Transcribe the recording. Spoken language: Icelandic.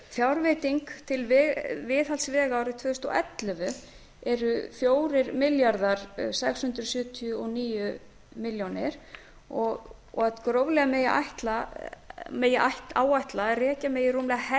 fjárveiting til viðhalds vega árið tvö þúsund og ellefu er fjögur þúsund sex hundruð sjötíu og níu milljónir króna og að gróflega megi áætla að rekja megi rúmlega helming